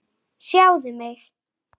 Örn yppti öxlum.